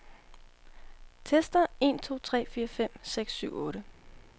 Tester en to tre fire fem seks syv otte.